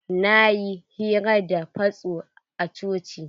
Na yi hira da fasto a coci.